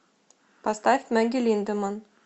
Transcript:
поставь мэгги линдеманн